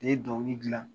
Ne ye dɔnkili gilan